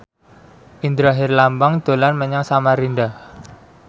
Indra Herlambang dolan menyang Samarinda